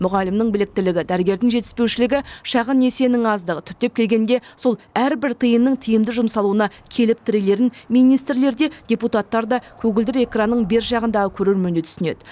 мұғалімнің біліктілігі дәрігердің жетіспеушілігі шағын несиенің аздығы түптеп келгенде сол әрбір тиынның тиімді жұмсалуына келіп тірелерін министрлер де депутаттар да көгілдір экранның бер жағындағы көрермен де түсінеді